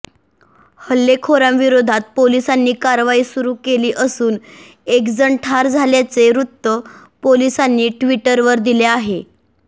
हल्लेखोरांविरोधात पोलिसांनी कारवाई सुरू केली असून एकजण ठार झाल्याचे वृत्त पोलिसांनी ट्विटरवर दिले आहे